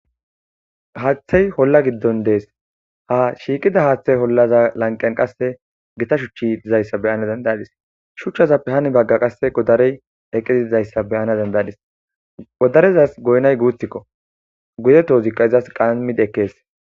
haaththey holla giddon dees ha shiiqida haaththey hollaza lanqen qasse gita shuchchi dizayssa beyana dendayadis shuchchaza pehani bagga qasse goddarey eqiziizayssa beyana dendaydis goddarezas goynay guuthikko gude toozikka izas qammide ekkees